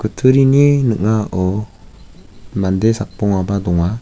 kutturini ning·ao mande sakbongaba donga.